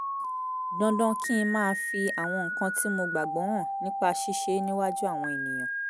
dandan kí n máa fi àwọn nǹkan tí mo gbàgbọ́ hàn nípa ṣíṣe é níwájú àwọn ènìyàn